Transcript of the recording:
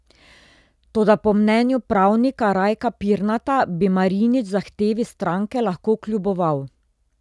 Toda po mnenju pravnika Rajka Pirnata bi Marinič zahtevi stranke lahko kljuboval.